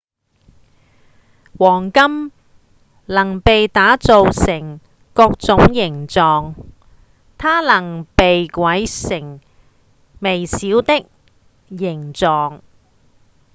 黃金能被打造成各種形狀它能被軋成微小的形狀